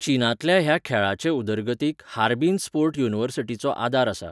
चीनांतल्या ह्या खेळाचे उदरगतीक हार्बिन स्पोर्ट युनिवर्सिटीचो आदार आसा.